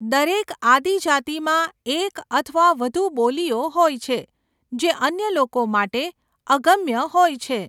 દરેક આદિજાતિમાં એક અથવા વધુ બોલીઓ હોય છે જે અન્ય લોકો માટે અગમ્ય હોય છે.